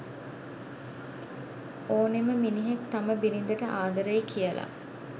ඕනෙම මිනිහෙක් තම බිරිඳට ආදරෙයි කියලා